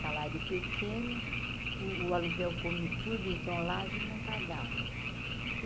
Salário pequeno, o o aluguel come tudo, então lá a gente não pagava.